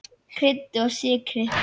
Kryddið og sykrið.